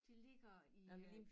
Det ligger i øh